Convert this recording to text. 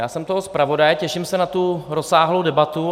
Já jsem toho zpravodaj, těším se na tu rozsáhlou debatu.